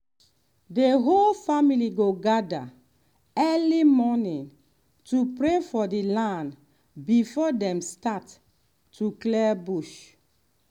the whole family go gather early morning to pray for the land before dem start to clear bush.